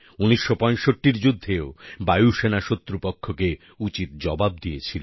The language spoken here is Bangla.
১৯৬৫র যুদ্ধেও বায়ুসেনা শত্রুপক্ষকে উচিত জবাব দিয়েছিল